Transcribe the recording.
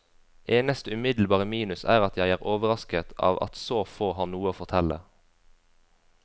Eneste umiddelbare minus er at jeg er overrasket av at så få har noe å fortelle.